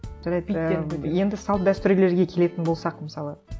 жарайды ыыы енді салт дәстүрлерге келетін болсақ мысалы